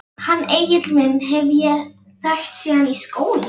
Hann Egil minn hef ég þekkt síðan í skóla.